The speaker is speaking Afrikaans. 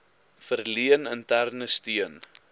verleen interne steun